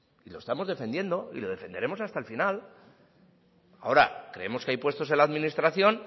y lo estamos defendiendo y lo defenderemos hasta el final ahora creemos que hay puestos en la administración